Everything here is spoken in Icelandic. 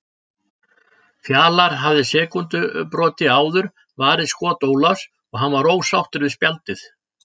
Fjalar hafði sekúndubroti áður varið skot Ólafs og hann var ósáttur við spjaldið.